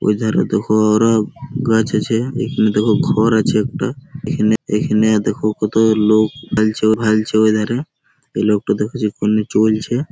ওই ধারে দেখোও ওরা গাছ আছে এখানে দেখো ঘর আছে একটা এখানে এখানে দেখো কত লোক ওই ধারে। এই লোকটা দেখো যে কেমনে চলছে --।